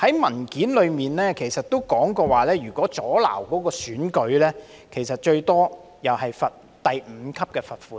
文件中提到，如果阻撓選舉，最多也只會被處第5級罰款。